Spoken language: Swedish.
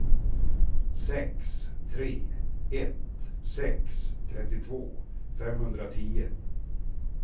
sex tre ett sex trettiotvå femhundratio